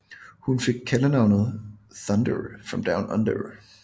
Han fik kaldenavnet Thunder from down under